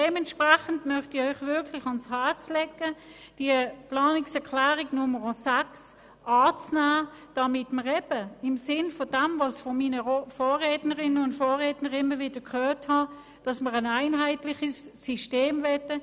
Dementsprechend möchte ich Ihnen wirklich ans Herz legen, die Planungserklärung 6 anzunehmen, damit wir eben im Sinn vom dem, was ich immer wieder von meinen Vorrednerinnen und Vorrednern gehört habe, ein einheitliches System wollen.